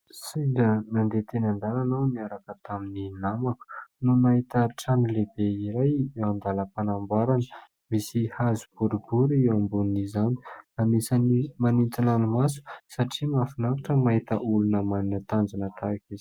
Sendra nandeha teny an-dalana aho niaraka tamin'ny namako no nahita trano lehibe iray eo andalam-panamborana. Misy hazo boribory eo ambonin'izany. Anisan'ny manintona ny maso satria mahafinaritra ny mahita olona manana tanjona tahaka izao.